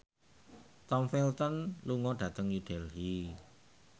Tom Felton lunga dhateng New Delhi